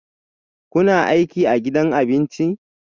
Kuna aiki a gidan abincin?